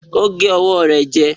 Ó gé ọwọ́ rẹ̀ jẹ